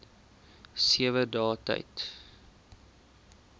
sewe dae tyd